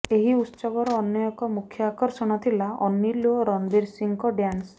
ଏହି ଉତ୍ସବର ଅନ୍ୟ ଏକ ମୁଖ୍ୟ ଆକର୍ଷଣ ଥିଲା ଅନିଲ୍ ଓ ରଣବୀର୍ ସିଂଙ୍କ ଡ୍ୟାନ୍ସ